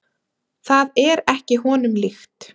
Það er ekki honum líkt.